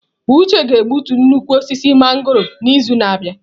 Uche ga-egbutu nnukwu osisi mangọrọ a n'izu na-abịa.